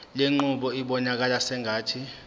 lenqubo ibonakala sengathi